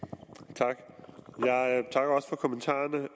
tak jeg takker også for kommentarerne